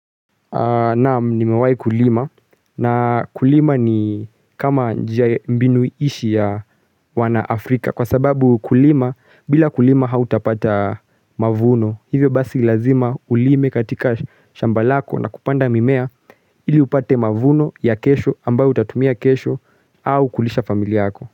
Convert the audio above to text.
Naam nimewahi kulima na kulima ni kama mbinu ishi ya wanafrika kwa sababu ukulima bila kulima hautapata mavuno hivyo basi lazima ulime katika shamba lako na kupanda mimea ili upate mavuno ya kesho ambayo utatumia kesho au kulisha famili yako.